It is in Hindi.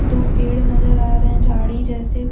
दो पेड़ नजर आ रहे हैं झाड़ी जैसे।